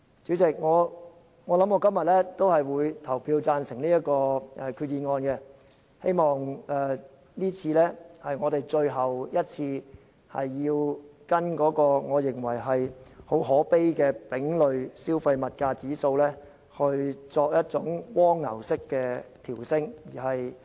主席，我今天會對這項決議案投贊成票，希望這次是我們最後一次跟隨我認為很可悲的丙類消費物價指數，作一種蝸牛式的調升。